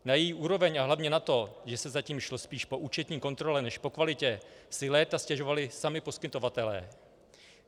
Na její úroveň a hlavně na to, že se zatím šlo spíš po účetní kontrole než po kvalitě, si léta stěžovali sami poskytovatelé.